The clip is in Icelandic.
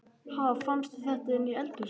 Ha! Fannstu þetta inni í eldhúsi?